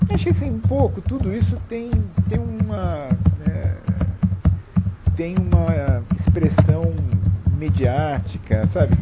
Achei assim, pouco, tudo isso tem tem uma né tem uma expressão mediática, sabe?